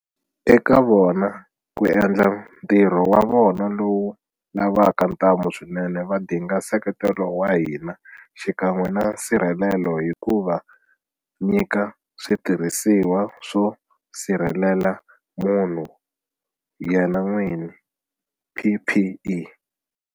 Eka vona ku endla ntirho wa vona lowu lavaka ntamu swinene va dinga nseketelo wa hina xikan'we na nsirhelelo hi ku va nyika switirhisiwa swo sirhelela munhu yena n'wini, PPE.